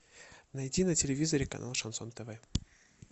найти на телевизоре канал шансон тв